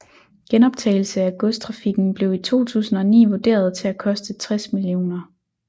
Genoptagelse af godstrafikken blev i 2009 vurderet til at koste 60 mill